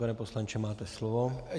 Pane poslanče, máte slovo.